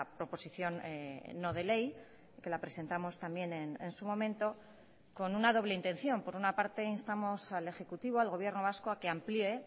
proposición no de ley que la presentamos también en su momento con una doble intención por una parte instamos al ejecutivo al gobierno vasco a que amplíe